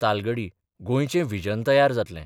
तालगडी गोंयचे व्हिजन तयार जातलें.